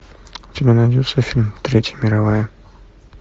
у тебя найдется фильм третья мировая